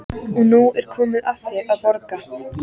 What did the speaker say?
Og nú er komið að þér að borga.